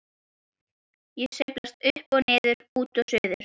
Ég sveiflast upp og niður, út og suður.